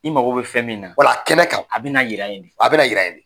I mago be fɛn min na , kɛnɛ kan a be na yira yen de. A be na yira yen de.